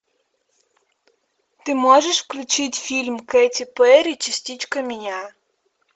ты можешь включить фильм кэти перри частичка меня